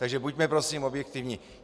Takže buďme prosím objektivní!